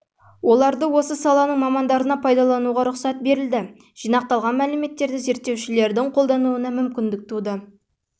оларды осы саланың мамандарына пайдалануға рұқсат берілді жинақталған мәліметтерді зерттеушілердің қолдануына мүмкіндік туды